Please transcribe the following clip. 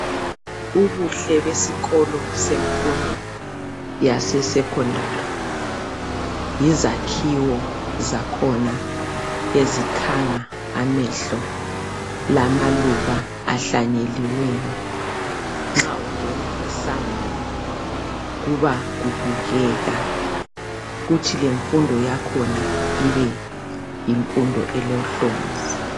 Ubuhle besikolo semfundo yase secondary, yizakhiwo zakhona ezikhanga amehlo, lamaluba ahlanyeliweyo. Nxa ungena esangweni kuba kubukeka kuthi lemfundo yakhona ibe yimfundo elohlonzi.